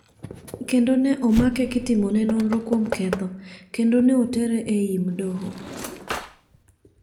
Kendo ne omake kitimone nonro kuom ketho ,kendo ne otere enyim doho.